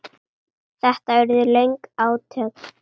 Þetta urðu löng átök.